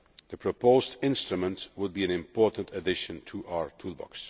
The proposed instrument would be an important addition to our toolbox.